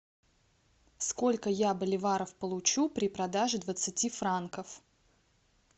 сколько я боливаров получу при продаже двадцати франков